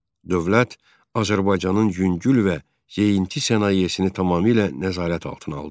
Dövlət Azərbaycanın yüngül və yeyinti sənayesini tamamilə nəzarət altına aldı.